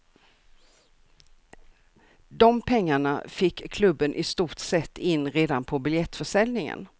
De pengarna fick klubben i stort sett in redan på biljettförsäljningen.